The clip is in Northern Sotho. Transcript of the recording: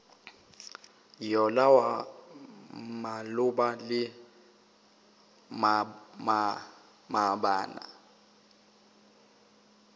yola wa maloba le maabane